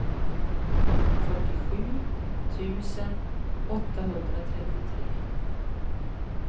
fyrtiosju tusen åttahundratrettiotre